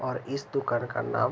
और इस दुकान का नाम --